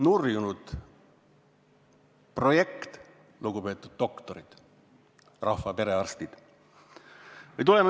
Nurjunud projekt, lugupeetud doktorid, rahva perearstid!